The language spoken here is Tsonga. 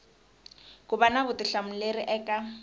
ku va na vutihlamuleri eka